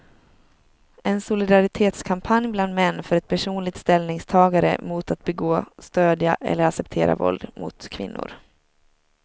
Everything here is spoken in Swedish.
En solidaritetskampanj bland män för ett personligt ställningstagande mot att begå, stödja eller acceptera våld mot kvinnor.